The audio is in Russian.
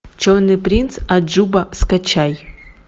черный принц аджуба скачай